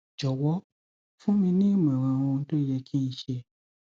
jọwọ fún mi ní ìmọràn ohun tó yẹ kí n ṣe